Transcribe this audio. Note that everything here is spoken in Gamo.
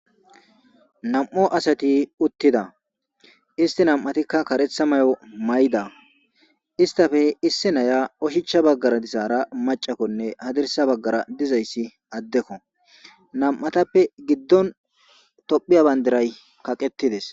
Na'mu asati utida isti na'matika karetha mayo mayida istappe issi nayiya oshicha bagara dizara ma'anne hadirsa bagara dizayisi adeko na'matappe gidon tophiya bandira kaqetides